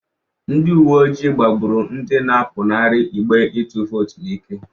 Ndị uwe ojii gbagbụrụ ndị na-apụnara igbe ịtụ vootu n'ike.